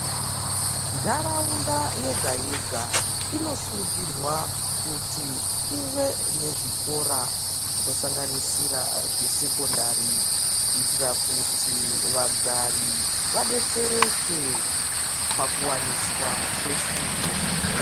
Nharaunda yega yega inosungirwa kuti ive nezvikora zvakasiyana siyana zvinosanganisira zvesekondari kuitira kuti vagari vadetsereke pakuwaniswa kwefundo.